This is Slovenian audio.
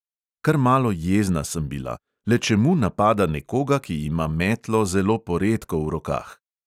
Kar malo jezna sem bila; le čemu napada nekoga, ki ima metlo zelo poredko v rokah?